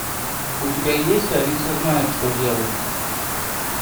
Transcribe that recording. у тебя есть алиса знает что делать